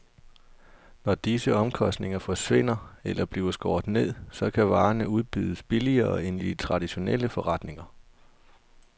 Når disse omkostninger forsvinder eller bliver skåret ned, så kan varerne udbydes billigere end i de traditionelle forretninger.